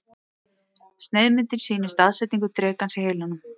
Sneiðmyndin sýnir staðsetningu drekans í heilanum.